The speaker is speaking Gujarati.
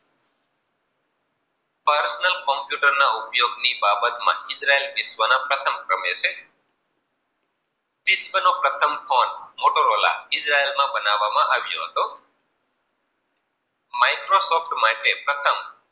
computer બાબત માં ઈજરાયલ વિશ્વના પ્રથમ ક્રમે છે. વિશ્વ નો મોટો ફોન મોટોરોલા ઈજરાયલમાં બનાવામાં અવ્યો હતો. માટે પ્રથમ બાબત મા